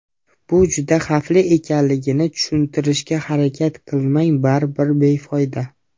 Bu juda xavfli ekanligini tushuntirishga harakat qilmay baribir befoyda.